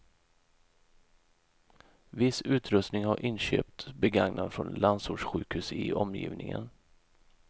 Viss utrustning har inköpts begagnad från landsortssjukhus i omgivningen.